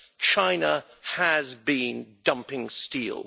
China has been dumping steel.